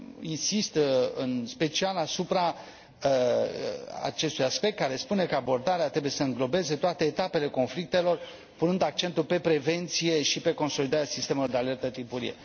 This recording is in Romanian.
Insist, în special, asupra acestui aspect, care spune că abordarea trebuie să înglobeze toate etapele conflictelor, punând accentul pe prevenție și pe consolidarea sistemelor de alertă timpurie.